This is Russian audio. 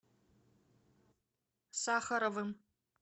сахаровым